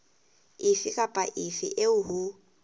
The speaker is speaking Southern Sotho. efe kapa efe eo ho